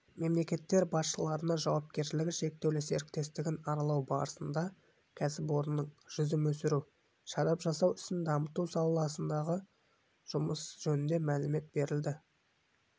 мемлекеттер басшыларына жауапкершілігі шектеулі серіктестігін аралау барысында кәсіпорынның жүзім өсіру шарап жасау ісін дамыту саласындағы жұмысы жөнінде мәлімет берілді